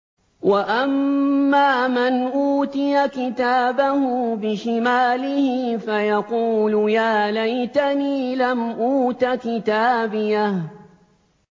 وَأَمَّا مَنْ أُوتِيَ كِتَابَهُ بِشِمَالِهِ فَيَقُولُ يَا لَيْتَنِي لَمْ أُوتَ كِتَابِيَهْ